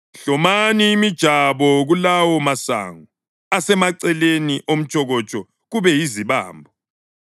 Hlomani imijabo kulawo masongo asemaceleni omtshokotsho kube yizibambo.